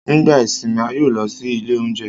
Nigba isinmi, a yoo lọ si ile ounjẹ